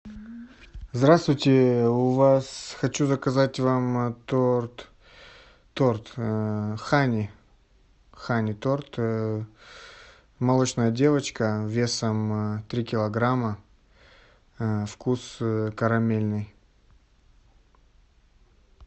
здравствуйте у вас хочу заказать вам торт торт ханни ханни торт молочная девочка весом три килограмма вкус карамельный